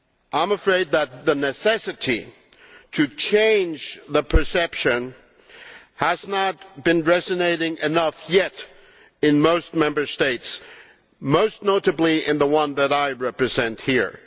I am afraid that the need to change the perception has not yet resonated enough in most Member States, most notably in the one that I represent here.